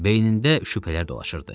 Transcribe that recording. Beynində şübhələr dolaşırdı.